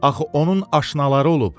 Axı onun aşnaları olub.